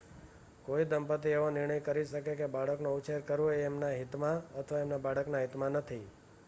કોઈ દંપતી એવો નિર્ણય કરી શકે કે બાળકનો ઉછેર કરવો એ તેમના હિતમાં અથવા તેમના બાળકના હિતમાં નથી